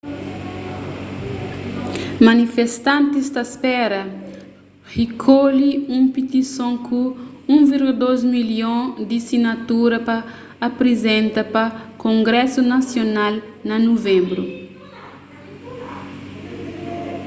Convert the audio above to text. manifestantis ta spera rikolhe un pitison ku 1,2 milhon di sinatura pa aprizenta pa kongrésu nasional na nuvenbru